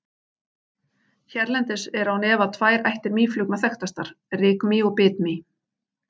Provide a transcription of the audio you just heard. Hérlendis eru án efa tvær ættir mýflugna þekktastar, rykmý og bitmý.